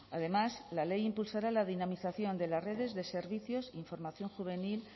además la ley impulsará la dinamización de las redes de servicios información juvenil